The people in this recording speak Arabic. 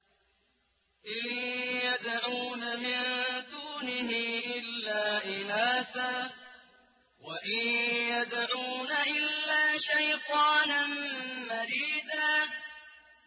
إِن يَدْعُونَ مِن دُونِهِ إِلَّا إِنَاثًا وَإِن يَدْعُونَ إِلَّا شَيْطَانًا مَّرِيدًا